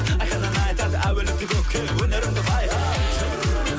айқын ән айтады әуеліңді көкке өнеріңді байқат